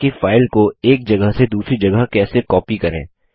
देखते हैं कि फाइल को एक जगह से दूसरी जगह कैसे कॉपी करें